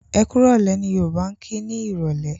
Ẹkúrọ̀lẹ́! ni Yorùbá kí ni Ìrọ̀lẹ́.